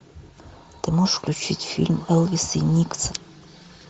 ты можешь включить фильм элвис и никсон